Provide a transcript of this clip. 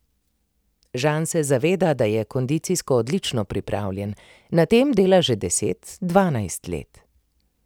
Žan se zaveda, da je kondicijsko odlično pripravljen, na tem dela že deset, dvanajst let.